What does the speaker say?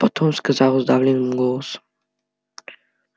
потом сказал сдавленным голосом